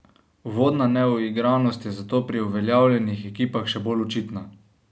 Uvodna neuigranost je zato pri uveljavljenih ekipah še bolj očitna.